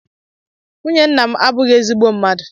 Nwunye nna m abụghị ezigbo mmadụ